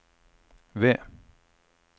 ved